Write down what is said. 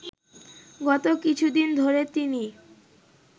গত কিছুদিন ধরে তিনি